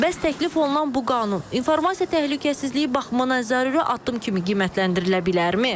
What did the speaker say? Bəs təklif olunan bu qanun informasiya təhlükəsizliyi baxımından zəruri addım kimi qiymətləndirilə bilərmi?